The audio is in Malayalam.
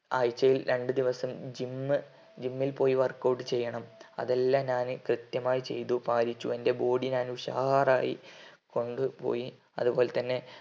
ആഴ്ചയിൽ രണ്ട് ദിവസം gym gym ൽ പോയി work out ചെയ്യണം അതെല്ലാം ഞാന് കൃത്യമായി ചെയ്തു പാലിച്ചു എന്റെ body ഞാൻ ഉഷാറായി കൊണ്ട് പോയി അത്പോൽത്തന്നെ